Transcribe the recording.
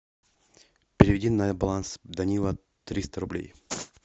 переведи на баланс данила триста рублей